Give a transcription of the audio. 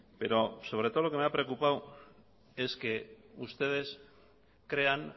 pero sobre todo lo que me ha preocupado es que ustedes crean